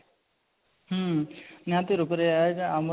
ହଁ ନିହାତି ରୂପରେ ଆଜି ଆମର